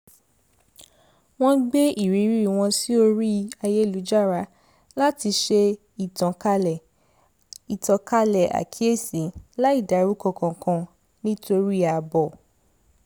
wọ́n gbé irírí wọn sí orí ayélujára láti ṣe ìtànkálẹ̀ àkíyèsi láì dárúkọ kankan nítorí ààbò